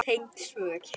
Tengd svör